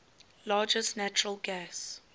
largest natural gas